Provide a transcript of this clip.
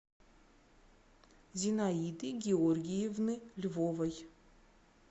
зинаиды георгиевны львовой